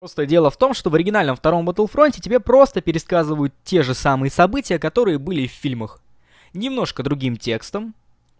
просто дело в том что в оригинальном втором ботл фройте фронте тебе просто пересказывают те же самые события которые были в фильмах немножко другим текстом